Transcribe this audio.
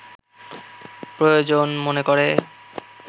প্রয়োজন মনে করে